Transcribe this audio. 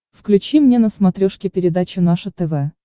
включи мне на смотрешке передачу наше тв